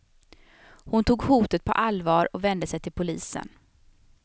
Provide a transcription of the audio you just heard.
Hon tog hotet på allvar och vände sig till polisen.